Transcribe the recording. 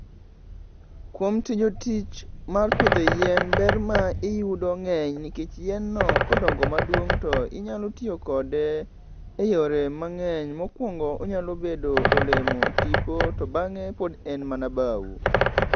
Kuom tijo tich mar pidho yien, ber ma iyudo ngeny nikech yien no kodongo maduong to inyalo tiyo kode e yore mangeny. Mokuongo onyalo bedo olemo, tipo to bange pod en mana bau